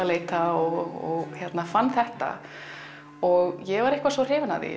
leita og fann þetta og ég var eitthvað svo hrifin af því